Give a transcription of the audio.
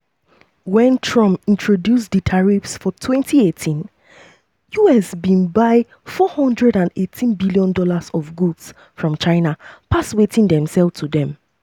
wen trump introduce di tariffs for 2018 us bin buy $418bn of goods from china pass wetin dem sell to dem.